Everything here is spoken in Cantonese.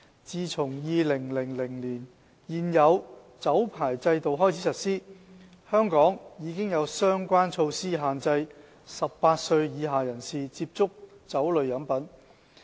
自從2000年開始實施現有的酒牌制度起，香港已有相關措施限制18歲以下人士接觸酒類飲品。